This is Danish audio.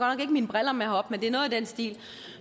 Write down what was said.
ikke mine briller med herop men det er noget i den stil